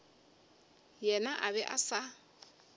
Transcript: yena a be a sa